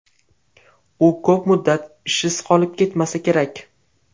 U ko‘p muddat ishsiz qolib ketmasa kerak.